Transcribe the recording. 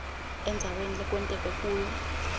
endzaweni lekwenteke kuyo